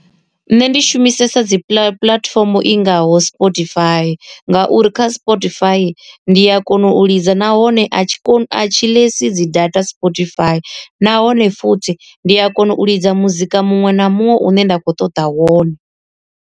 Nṋe ndi shumisesa dzi puḽatifomo i ngaho Spotify, ngauri kha Spotify ndi a kona u lidza nahone a tshi koni a tshi ḽdzi dzi data Spotify nahone futhi ndi a kona u lidza muzika muṅwe na muṅwe u ne nda kho ṱoḓa wone.